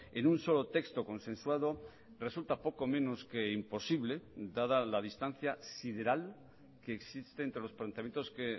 en un solo texto consensuado resulta poco menos que imposible dada la distancia sideral que existe entre los planteamientos que